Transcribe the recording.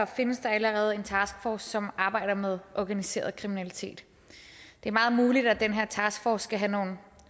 findes der allerede en taskforce som arbejder med organiseret kriminalitet det er meget muligt at den her taskforce skal have nogle